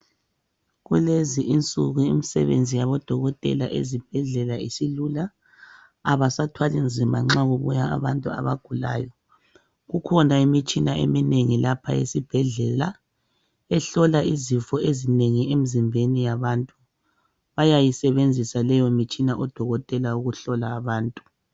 Kulezi insuku imsebenzi yabodokotela ezibhedlela isilula, abasathwali nzima nxa kubuya abantu abagulayo. Kukhona imitshina eminengi lapha esibhedlela, ehlola izifo ezinengi emizimbeni yabantu. Bayayisebenzisa leyo mitshina odokotela ukuhlola abantu.